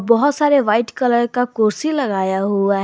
बहुत सारे white colour का कुर्सी लगाया हुआ है।